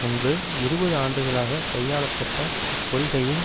முன்பு இருபது ஆண்டுகளாக கையாள பட்ட கொள்கைகளின்